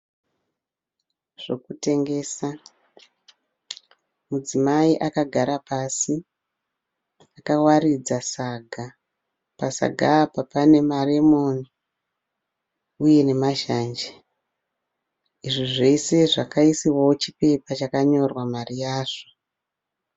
Zvokutengesa, mudzimai akagara pasi, akawaridza saga, pasaga apa pane maremon uye nemazhanje izvi zvese zvakaisiwawo chipepa chakanyorwa mari yazvo.